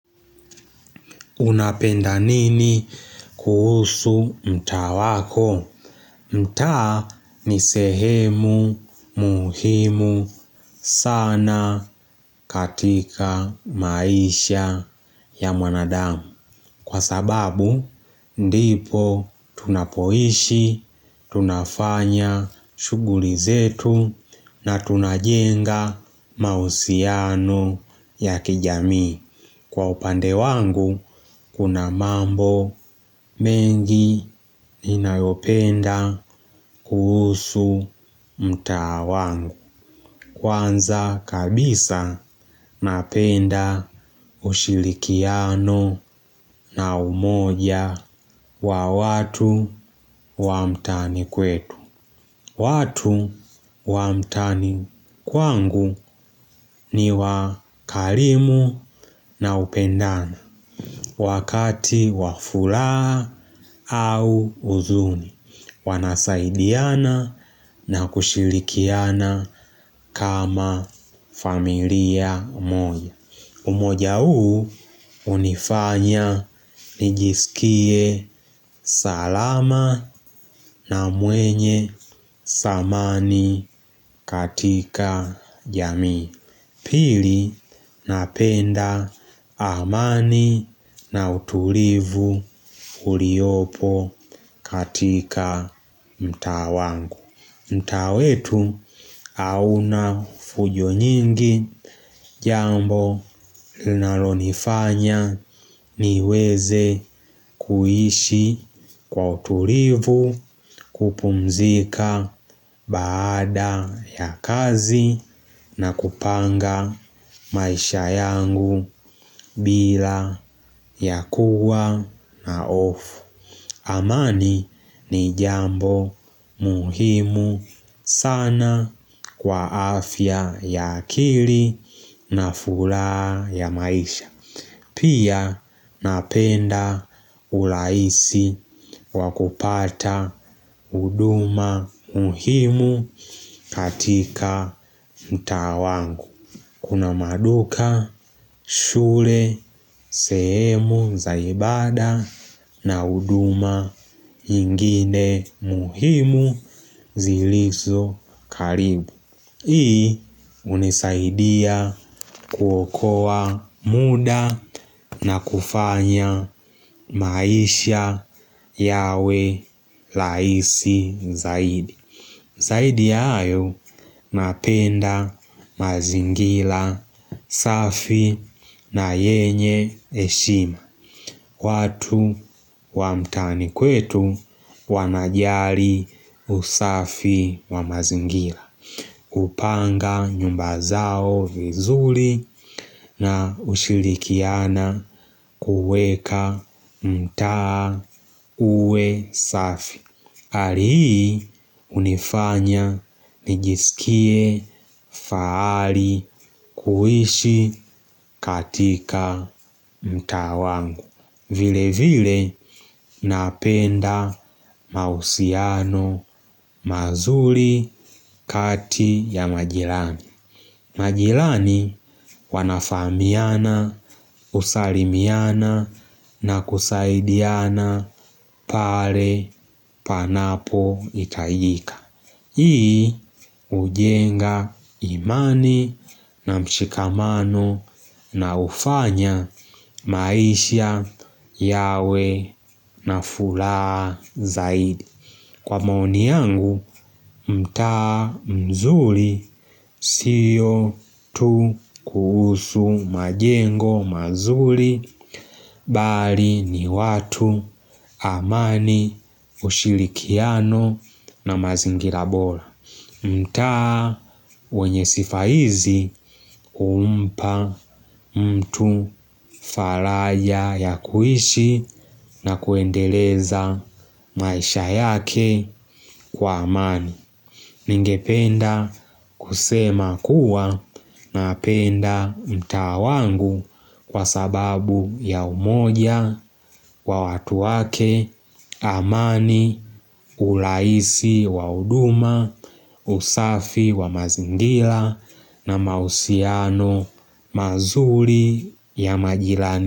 Unapenda nini kuhusu mtaa wako? Mtaa ni sehemu muhimu sana katika maisha ya mwanadamu. Kwa sababu, ndipo tunapoishi, tunafanya shughuli zetu na tunajenga mahusiano ya kijamii. Kwa upande wangu, kuna mambo mengi ninayopenda kuhusu mtaa wangu. Kwanza kabisa napenda ushirikiano na umoja wa watu wa mtaani kwetu. Watu wa mtaani kwangu ni wa karimu na upendana. Wakati wa furaha au huzuni, wanasaidiana na kushirikiana kama familia moja. Umoja huu hunifanya nijiskie salama na mwenye thamani katika jamii. Pili napenda amani na utulivu uliopo katika mtaa wangu. Mtaa wetu hauna fujo nyingi jambo linalonifanya niweze kuishi kwa utulivu kupumzika baada ya kazi na kupanga maisha yangu bila ya kuwa na hofu. Amani ni jambo muhimu sana kwa afya ya akili na furaha ya maisha. Pia napenda urahisi wa kupata huduma muhimu katika mtaa wangu. Kuna maduka, shule, sehemu za ibada na huduma ingine muhimu zilizo karibu. Hii hunisaidia kuokoa muda na kufanya maisha yawe rahisi zaidi. Zaidi ya hayo napenda mazingira safi na yenye heshima. Watu wa mtaani kwetu wanajali usafi wa mazingira. Hupanga nyumba zao vizuri na hushirikiana kuweka mtaa uwe safi. Hali hii hunifanya nijiskie fahari kuishi katika mtaa wangu. Vile vile napenda mahusiano mazuri kati ya majirani. Majirani wanafahamiana, husalimiana na kusaidiana pale panapohitajika. Hii hujenga imani na mshikamano na hufanya maisha yawe na furaha zaidi. Kwa maoni yangu mtaa mzuri sio tu kuhusu majengo mazuri bali ni watu amani ushirikiano na mazingira bora. Mtaa wenye sifa hizi humpa mtu faraja ya kuishi na kuendeleza maisha yake kwa amani. Ningependa kusema kuwa napenda mtaa wangu kwa sababu ya umoja wa watu wake amani urahisi wa huduma usafi wa mazingira na mahusiano mazuri ya majirani.